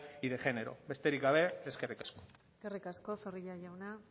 y de género besterik gabe eskerrik asko eskerrik asko zorrilla jauna